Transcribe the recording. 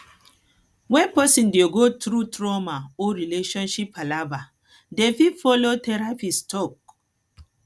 when person dey go through trauma or relationship palava dem fit follow therapist talk